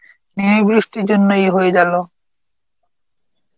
এই বৃষ্টির জন্যই এ হয়ে গেল.